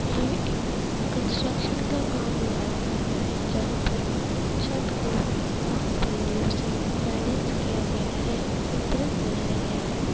ये एक कंस्ट्रक्शन का काम नज़र आ रहा है जहा पर छत को बास-बल्लियों से बैलेंस किया गया है संतुलन बनाया गया है।